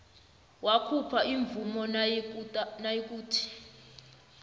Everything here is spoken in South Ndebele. wakhupha imvumo nayikuthi